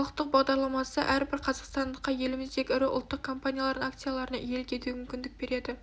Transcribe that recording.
халықтық бағдарламасы әрбір қазақстандыққа еліміздегі ірі ұлттық компаниялардың акцияларына иелік етуге мүмкіндік береді